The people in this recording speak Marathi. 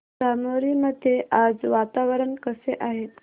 धामोरी मध्ये आज वातावरण कसे आहे